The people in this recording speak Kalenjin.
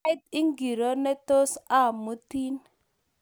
Sait ngiro netos amutin?